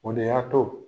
O de y'a to